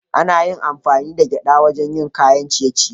Ana amfani da gwada wajen yin kayan ciye-ciye